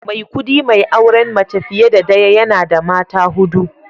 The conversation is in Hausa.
Maikudi mai auren mace fiye da daya, yana da mata hudu